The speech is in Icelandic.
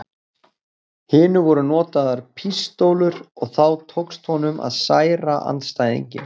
hinu voru notaðar pístólur og þá tókst honum að særa andstæðinginn.